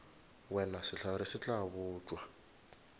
wena sehlare se tla botšwa